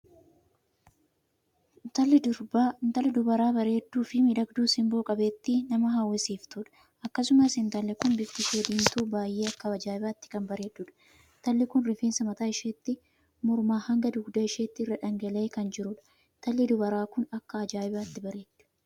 Intalli dubaraa bareedduu fi miidhagduu sinboo qabeettii nama hawwisiiftudha. akkasumas intalli kun bifti ishee diimtuu baay'ee akka ajaa'ibaatti kan bareeddudha. intalli kun rifeensi mataa isheetti mormaa hanga dugda isheetti irra dhangala'ee kan jirudha. intalli dubaraa kun akka ajaa'ibaatti bareeddi!